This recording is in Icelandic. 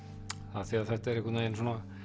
af því þetta er einhvern veginn